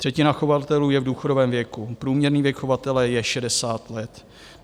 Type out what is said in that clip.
Třetina chovatelů je v důchodovém věku, průměrný věk chovatele je 60 let.